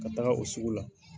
Ka taga o sugu la.